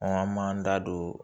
an m'an da don